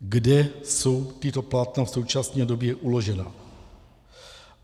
Kde jsou tato plátna v současné době uložena?